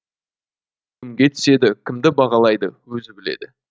кімге түседі кімді бағалайды өзі біледі